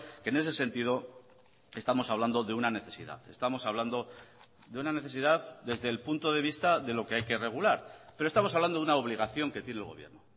que en ese sentido estamos hablando de una necesidad estamos hablando de una necesidad desde el punto de vista de lo que hay que regular pero estamos hablando de una obligación que tiene el gobierno